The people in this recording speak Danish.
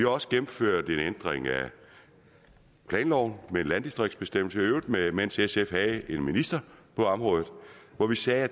også gennemført en ændring af planloven med en landdistriktsbestemmelse i øvrigt mens sf havde en minister på området hvor vi sagde at